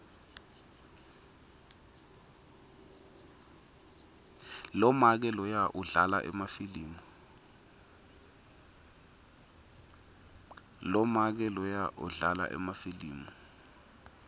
lomake loya udlala emafilimu